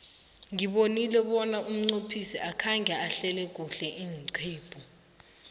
ngibonile bona umqophisi akhange ahlele kuhle iinqephu